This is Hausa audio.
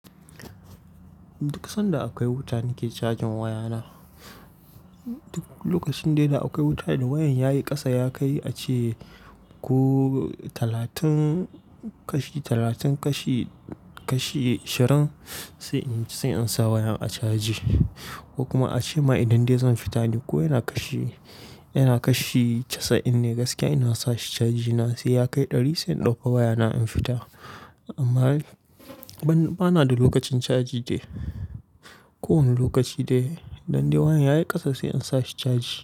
Duk sanda akwai wuta nake cajin wayana. Duk lokacin da akwai wuta idan wayan yayi kasa ya kai ace ko talatin kashi, talatin kashi, kashi ashirin sai in sa wayan a caji ko kuma ace ma idan dai zan fita ne ko yana kashi, yana kashi casa'in ne gaskiya ina sa shi caji na sai ya kai ɗari sai in dauka wayana in fita. Amma bana da lokacin caji dai. Kowanne lokaci dai idan dai wayan yayi kasa sai in sa shi caji.